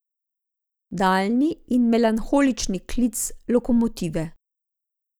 Daljni in melanholični klic lokomotive.